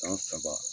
San saba